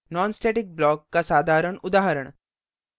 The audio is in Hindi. nonstatic block का साधारण उदाहरण